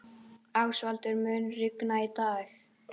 Ásvaldur, mun rigna í dag?